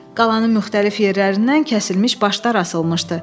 Qalanın müxtəlif yerlərindən kəsilmiş başlar asılmışdı.